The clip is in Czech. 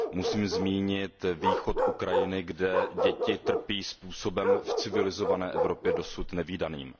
Musím zmínit východ Ukrajiny, kde děti trpí způsobem v civilizované Evropě dosud nevídaným.